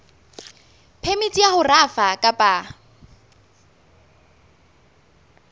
phemiti ya ho rafa kapa